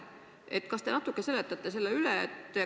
Ehk te natuke seletate selle üle.